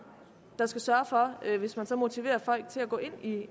der skal sørge for at tilbud hvis man så motiverer folk til at gå i